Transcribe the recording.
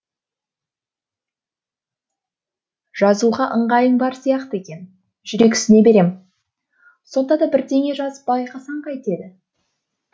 жазуға ыңғайың бар сияқты екен жүрексіне берем сонда да бірдеңе жазып байқасаң қайтеді